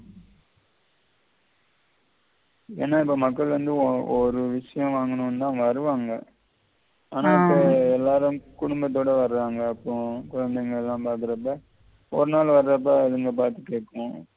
ஏன்னா இப்ப மக்கள் வந்து ஒரு விஷயம் வாங்கணும்னு தான் வருவாங்க ஆனா இப்போ எல்லாரும் குடும்பத்தோட வருவாங்க அப்புறம் குழைந்தைங்கல்லாம் பார்க்கிறப்ப ஒரு நாள் வர்றப்ப இவங்க பார்த்து கேட்கும்